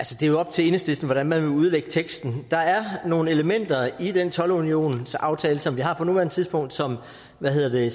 til enhedslisten hvordan man vil udlægge teksten der er nogle elementer i den toldunionsaftale som vi har på nuværende tidspunkt som hvad hedder det